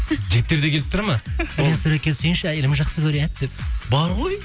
жігіттер де келіп тұрады ма суретке түсейінші әйелім жасқы көреді деп бар ғой